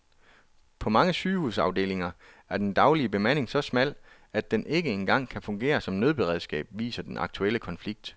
På mange sygehusafdelinger er den daglige bemanding så smal, at den ikke engang kan fungere som nødberedskab, viser den aktuelle konflikt.